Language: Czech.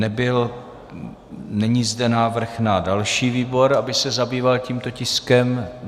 Není zde návrh na další výbor, aby se zabýval tímto tiskem.